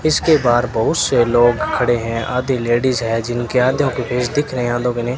इसके बाहर बहुत से लोग खड़े हैं आधी लेडिज है जिनके आधो के फेस दिख रहे हैं आधों के नहीं --